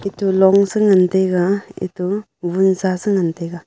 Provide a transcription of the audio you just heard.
eto long se ngan taiga eto vun sa se ngan taiga.